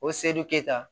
O se dun keyita